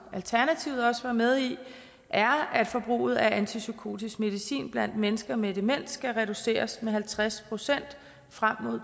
alternativet også var med i er at forbruget af antipsykotisk medicin blandt mennesker med demens skal reduceres med halvtreds procent frem mod